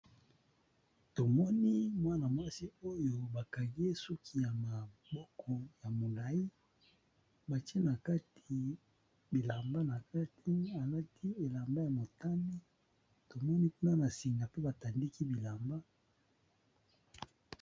Namoni Mwana mwasi oyo Bakangiye ye suki yamaboko milayi batiye nakati bilamba nati, alati bilamba ya motani tomoni pe na sima batandiki bilamba.